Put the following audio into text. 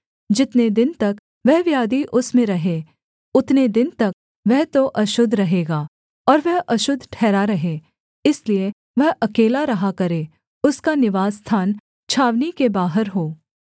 जितने दिन तक वह व्याधि उसमें रहे उतने दिन तक वह तो अशुद्ध रहेगा और वह अशुद्ध ठहरा रहे इसलिए वह अकेला रहा करे उसका निवासस्थान छावनी के बाहर हो